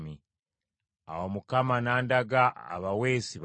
Awo Mukama n’andaga abaweesi bana.